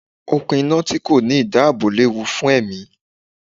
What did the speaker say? Okùn iná tí kò ní ìdáàbò léwu fún ẹ̀mí.